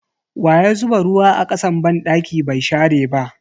Waya zuba ruwa a kasan banɗaki bai share ba?